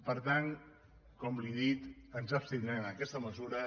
per tant com li he dit ens abstindrem en aquesta mesura